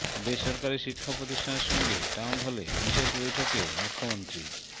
বেসরকারি শিক্ষা প্রতিষ্ঠানের সঙ্গে টাউন হলে বিশেষ বৈঠকে মুখ্যমন্ত্রী